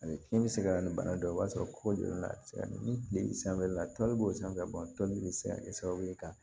Ani fiɲɛ bɛ se ka na ni bana dɔ ye i b'a sɔrɔ ko jɔlen don a bɛ se ka ni tile sanfɛla la toli b'o sanfɛ bɛ se ka kɛ sababu ye ka